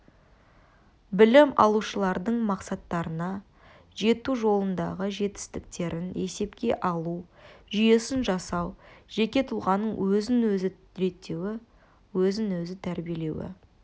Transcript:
білім алушылардың мақсаттарына жету жолындағы жетістіктерін есепке алу жүйесін жасау жеке тұлғаның өзін-өзі реттеуі өзін-өзі тәрбиелеуі